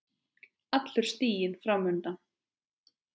Allur stiginn fram undan.